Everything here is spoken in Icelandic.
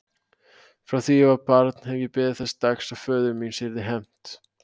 Frá því ég var barn hef ég beðið þess dags að föður míns yrði hefnt.